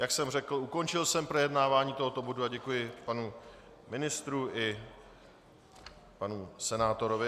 Jak jsem řekl, ukončil jsem projednávání tohoto bodu a děkuji panu ministru i panu senátorovi.